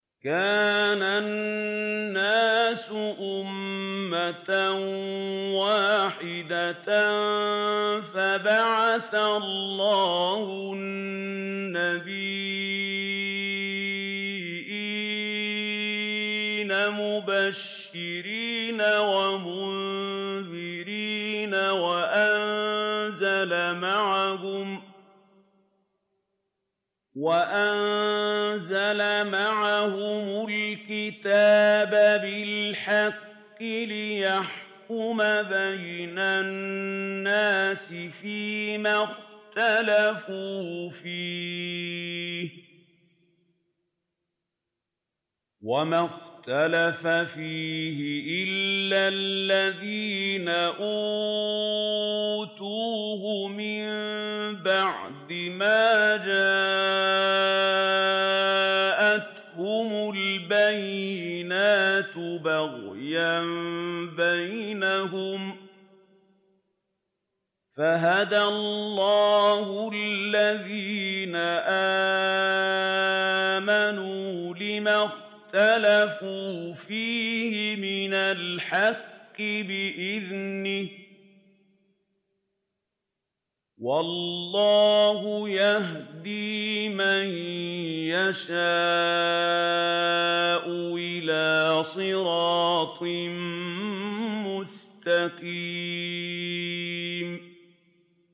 كَانَ النَّاسُ أُمَّةً وَاحِدَةً فَبَعَثَ اللَّهُ النَّبِيِّينَ مُبَشِّرِينَ وَمُنذِرِينَ وَأَنزَلَ مَعَهُمُ الْكِتَابَ بِالْحَقِّ لِيَحْكُمَ بَيْنَ النَّاسِ فِيمَا اخْتَلَفُوا فِيهِ ۚ وَمَا اخْتَلَفَ فِيهِ إِلَّا الَّذِينَ أُوتُوهُ مِن بَعْدِ مَا جَاءَتْهُمُ الْبَيِّنَاتُ بَغْيًا بَيْنَهُمْ ۖ فَهَدَى اللَّهُ الَّذِينَ آمَنُوا لِمَا اخْتَلَفُوا فِيهِ مِنَ الْحَقِّ بِإِذْنِهِ ۗ وَاللَّهُ يَهْدِي مَن يَشَاءُ إِلَىٰ صِرَاطٍ مُّسْتَقِيمٍ